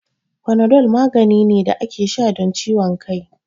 Fanadol magani ne da ake sha don ciwon kai